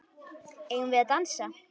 Eigum við að dansa?